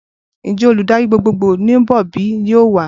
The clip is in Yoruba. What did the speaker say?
Ǹjẹ́ olùdarí gbogbogbò ń bọ̀ bíi? yóò wà?